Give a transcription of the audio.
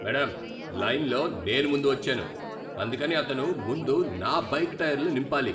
Madam, లైన్లో నేను ముందు వచ్చాను, అందుకని అతను ముందు నా బైక్ టైర్లు నింపాలి.